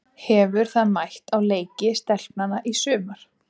Hefur það mætt á leiki stelpnanna í sumar?